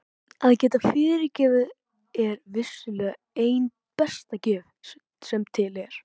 Að geta fyrirgefið er vissulega ein besta gjöf sem til er.